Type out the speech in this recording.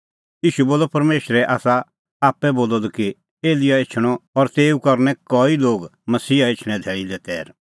ईशू बोलअ परमेशरै आसा आप्पै बोलअ द कि एलियाह एछणअ और तेऊ करनै कई लोग मसीहा एछणें धैल़ी लै तैर